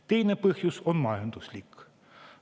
Teine põhjus on majanduslik.